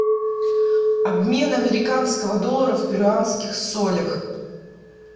обмен американского доллара в перуанских солях